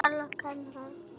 Svo var löng þögn.